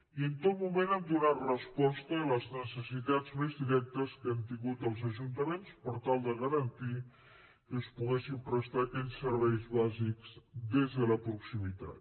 i en tot moment hem donat resposta a les necessitats més directes que han tingut els ajuntaments per tal de garantir que es poguessin prestar aquells serveis bàsics des de la proximitat